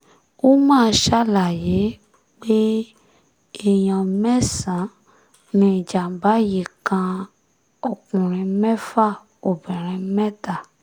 umar ṣàlàyé pé èèyàn mẹ́sàn-án ni ìjàm̀bá yìí kan ọkùnrin mẹ́fà obìnrin mẹ́ta